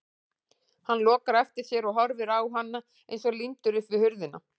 Hann lokar á eftir sér og horfir á hana eins og límdur upp við hurðina.